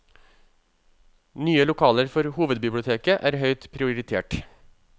Nye lokaler for hovedbiblioteket er høyt prioritert.